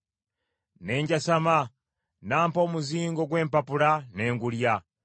Ne njasama, n’ampa omuzingo gw’empapula ne ngulya.